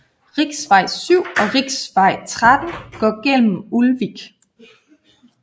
Riksvei 7 og riksvei 13 går gennem Ulvik